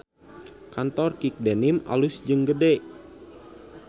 Kantor Kick Denim alus jeung gede